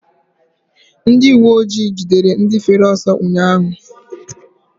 Ndị uweojii gidere ndị fere ọsọ ụnyaahụ.